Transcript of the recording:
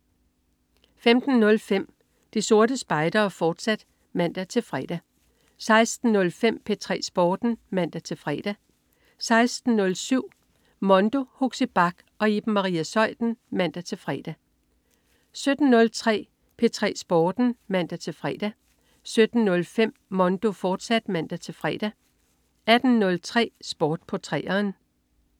15.05 De Sorte Spejdere, fortsat (man-fre) 16.05 P3 Sporten (man-fre) 16.07 Mondo. Huxi Bach og Iben Maria Zeuthen (man-fre) 17.03 P3 Sporten (man-fre) 17.05 Mondo, fortsat (man-fre) 18.03 Sport på 3'eren